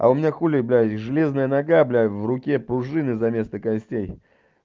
а у меня хули блядь и железная нога блядь в руке пружины за вместо костей